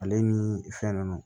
Ale ni fɛn nunnu